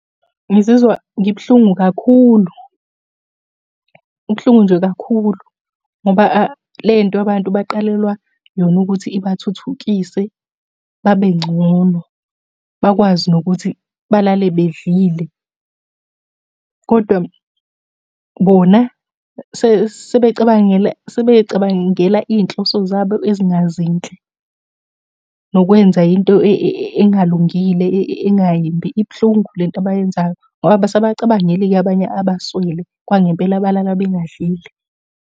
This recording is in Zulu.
Ngizizwa ngibuhlungu kakhulu. Kubuhlungu nje kakhulu, ngoba le nto abantu baqalelwa yona ukuthi ibathuthukise babe ngcono. Bakwazi nokuthi balale bedlile, kodwa bona sebecabangela sebey'cabangela iy'nhloso zabo ezingazinhle. Nokwenza into engalungile engayimbi. Ibuhlungu le nto abayenzayo, ngoba abasabacabangeli-ke abanye abaswele kwangempela abalala bengadlile.